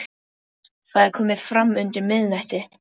Það er komið fram undir miðnætti.